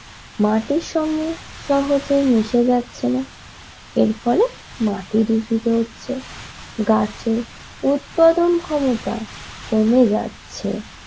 মাটির সঙ্গে সহজে মিশে যাচ্ছে না এর ফলে মাটি দূষিত হচ্ছে গাছের উৎপাদন ক্ষমতা কমে যাচ্ছে।